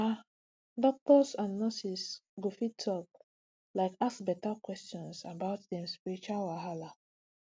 ah doctors and nurses go fit like ask beta questions about dem spiritual wahala